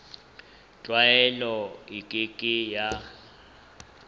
tlwaelo e ke ke ya